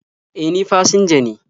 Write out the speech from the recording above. E, ni fasinja ne..